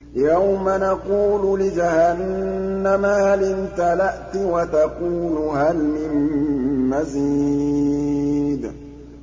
يَوْمَ نَقُولُ لِجَهَنَّمَ هَلِ امْتَلَأْتِ وَتَقُولُ هَلْ مِن مَّزِيدٍ